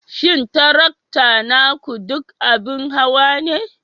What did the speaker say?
Shin tarakta naku duk abin hawa ne?